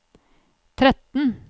tretten